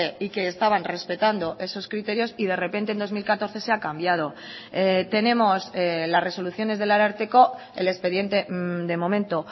y que estaban respetando esos criterios y de repente en dos mil catorce se ha cambiado tenemos las resoluciones del ararteko el expediente de momento